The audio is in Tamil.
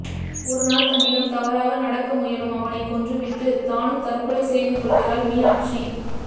ஒரு நாள் தன்னிடம் தவறாக நடக்க முயலும் அவனைக் கொன்றுவிட்டு தானும் தற்கொலை செய்துகொள்கிறாள் மீனாட்சி